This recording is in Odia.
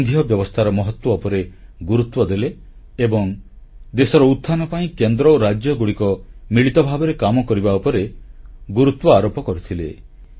ସେ ସଂଘୀୟ ବ୍ୟବସ୍ଥାର ମହତ୍ୱ ଉପରେ ଗୁରୁତ୍ୱ ଦେଲେ ଏବଂ ଦେଶର ଉତ୍ଥାନ ପାଇଁ କେନ୍ଦ୍ର ଓ ରାଜ୍ୟଗୁଡ଼ିକ ମିଳିତ ଭାବରେ କାମ କରିବା ଉପରେ ଗୁରୁତ୍ୱ ଆରୋପ କରିଥିଲେ